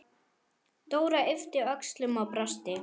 Dóra yppti öxlum og brosti.